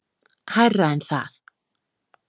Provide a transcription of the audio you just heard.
Hærra en það.